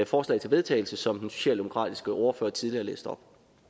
forslag til vedtagelse som den socialdemokratiske ordfører tidligere læste op